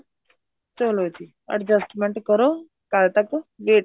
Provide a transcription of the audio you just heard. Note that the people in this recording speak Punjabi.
ਚਲੋ ਜੀ adjustment ਕਰੋ ਕੱਲ ਤੱਕ wait